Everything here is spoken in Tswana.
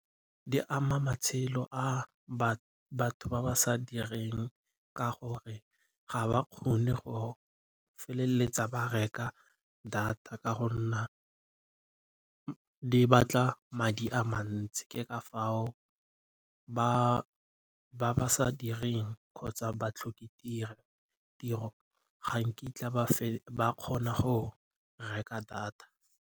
Di ama matshelo a batho ba ba sa direng ka gore ga ba kgone go feleletsa ba reka data ka go nna di batla madi a mantsi. Ke ka foo ba ba sa direng kgotsa ga nkitla ba kgona go reka data.